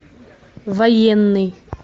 военный